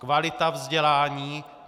Kvalita vzdělání.